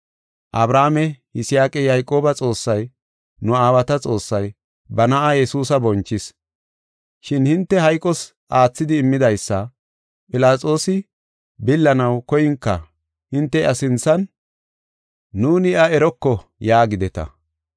Abrahaame, Yisaaqa, Yayqooba Xoossay, nu aawata Xoossay, ba na7aa Yesuusa bonchis. Shin hinte hayqos aathidi immidaysa Philaxoosi billanaw koyinka hinte iya sinthan, ‘Nuuni iya eroko’ yaagideta.